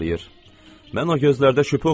Mən o gözlərdə şübhə oxuyuram.